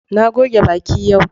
Na goge baki yau.